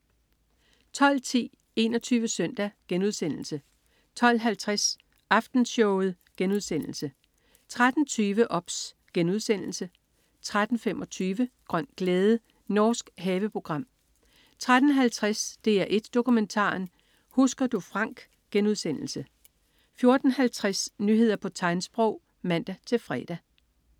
12.10 21 Søndag* 12.50 Aftenshowet* 13.20 OBS* 13.25 Grøn glæde. Norsk haveprogram 13.50 DR1 Dokumentaren. Husker du Frank* 14.50 Nyheder på tegnsprog (man-fre)